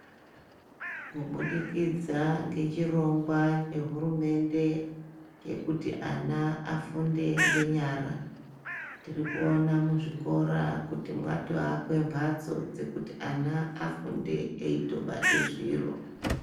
Kubudikidza ngechirongwa hurumende chekuti ana afunde ngenyara. Tirikuona muzvikora kuti mwatoakwe mbatso dzekuti ana afunde eitobate zviro.